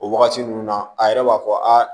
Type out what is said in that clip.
O wagati ninnu na a yɛrɛ b'a fɔ a